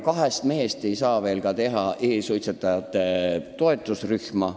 Kahest mehest ei saa ka teha e-suitsetajate toetusrühma.